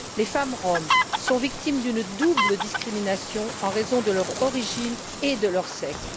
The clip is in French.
Les femmes roms sont victimes d'une double discrimination en raison de leur origine et de leur sexe.